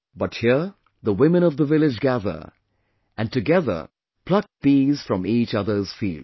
But here, the women of the village gather, and together, pluck peas from each other's fields